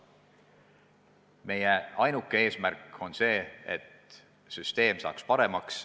Meie ainuke eesmärk on, et süsteem saaks paremaks.